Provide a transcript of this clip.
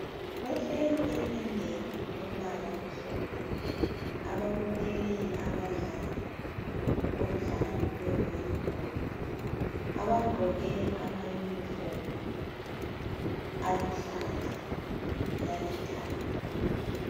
Bahleli etendeni elombala omhlophe ababukele abadlali bomdlalo. wevolleyball abagqoke amayunifomu aluhlaza lalithanga.